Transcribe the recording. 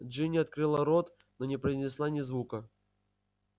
джинни открыла рот но не произнесла ни звука